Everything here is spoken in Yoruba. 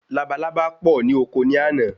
Labalábá pọ ni oko ni àná